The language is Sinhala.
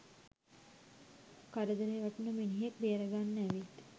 කරදරේ වැටුන මිනිහෙක් බේර ගන්න ඇවිත්